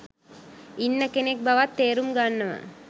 ඉන්න කෙනෙක් බවත් තේරුම් ගන්නවා.